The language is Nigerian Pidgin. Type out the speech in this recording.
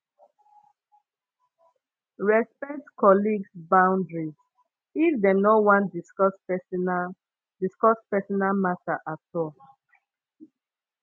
respect colleagues boundaries if dem no want discuss personal discuss personal matter at all